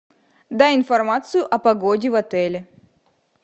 дай информацию о погоде в отеле